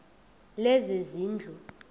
lezezindlu